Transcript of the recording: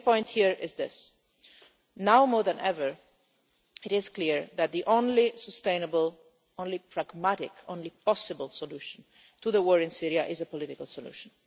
The main point here is this now more than ever, it is clear that the only sustainable, the only pragmatic, the only possible solution, to the war in Syria is a political solution.